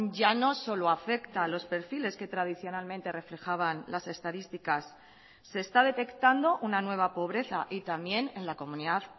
ya no solo afecta a los perfiles que tradicionalmente reflejaban las estadísticas se está detectando una nueva pobreza y también en la comunidad